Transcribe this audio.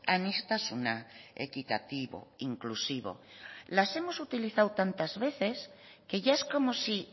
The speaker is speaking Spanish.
aniztasuna equitativo inclusivo las hemos utilizado tantas veces que ya es como si